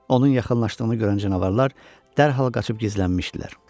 Onun yaxınlaşdığını görən canavarlar dərhal qaçıb gizlənmişdilər.